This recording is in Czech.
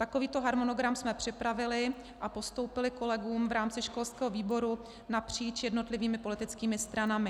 Takovýto harmonogram jsme připravili a postoupili kolegům v rámci školského výboru napříč jednotlivými politickými stranami.